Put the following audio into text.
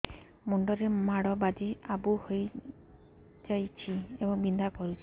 ମୁଣ୍ଡ ରେ ମାଡ ବାଜି ଆବୁ ହଇଯାଇଛି ଏବଂ ବିନ୍ଧା କରୁଛି